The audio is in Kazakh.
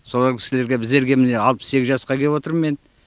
солар кісілерге біздерге міне алпыс сегіз жасқа келіп отырмын мен